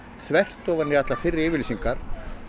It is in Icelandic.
þvert á allar fyrri yfirlýsingar